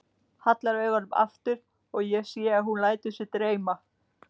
Hallar augunum aftur og ég sé að hún lætur sig dreyma.